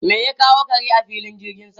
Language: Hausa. Me ya kawo kare a filin jirgin sama?